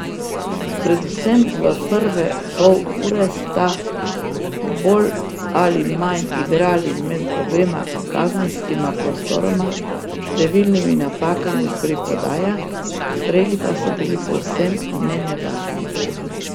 Predvsem v prve pol ure sta bolj ali manj igrali med obema kazenskima prostoroma s številnimi napakami pri podajah, streli pa so bili povsem nenevarni.